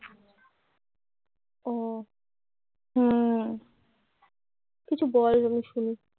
ও হম হম কিছু বল আমি শুনি